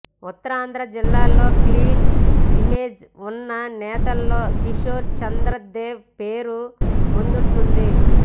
ఉత్తరాంధ్ర జిల్లాల్లో clean image ఉన్న నేతల్లో కిషోర్ చంద్ర దేవ్ పేరు ముందుంటుంది